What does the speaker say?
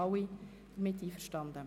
Alle sind damit einverstanden.